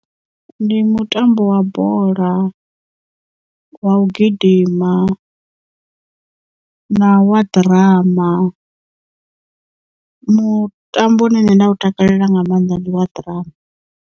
Ndi mutambo wa bola wa u gidima na wa ḓirama mutambo une nṋe nda u takalela nga maanḓa ndi wa ḓirama.